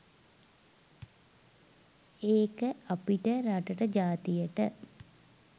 ඒක අපිට රටට ජාතියට